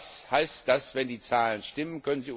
Was heißt das Wenn die Zahlen stimmen?